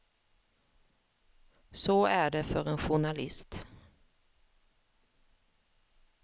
Så är det för en journalist.